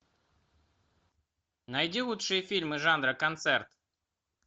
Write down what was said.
найди лучшие фильмы жанра концерт